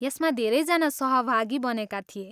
यसमा धेरैजना सहभागी बनेका थिए।